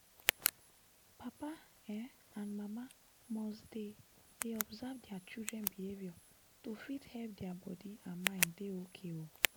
papa um and mama must dey dey observe dia children behavior to fit help dia body and mind dey okay um